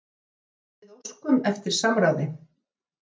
En við óskum eftir samráði.